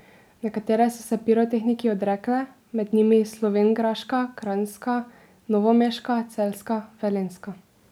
Nekatere so se pirotehniki odrekle, med njimi slovenjgraška, kranjska, novomeška, celjska, velenjska ...